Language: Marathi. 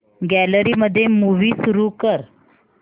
गॅलरी मध्ये मूवी सुरू कर